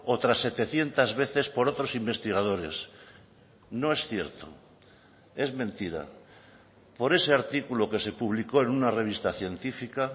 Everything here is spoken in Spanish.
otras setecientos veces por otros investigadores no es cierto es mentira por ese artículo que se publicó en una revista científica